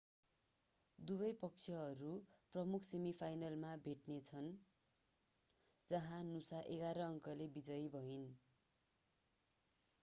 दुवै पक्षहरू प्रमुख सेमिफाइनलमा भेट्नेछ जहाँ नुसा 11 अंकले विजयी भइन्